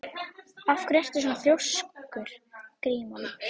Af hverju ertu svona þrjóskur, Grímólfur?